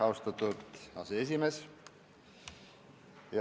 Austatud aseesimees!